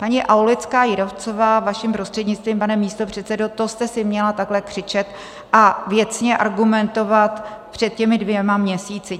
Paní Aulická Jírovcová, vaším prostřednictvím, pane místopředsedo, to jste si měla takhle křičet a věcně argumentovat před těmi dvěma měsíci.